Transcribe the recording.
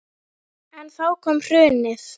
En þá kom hrunið.